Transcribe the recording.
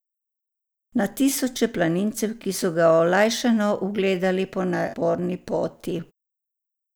Na tisoče planincev, ki so ga olajšano ugledali po naporni poti.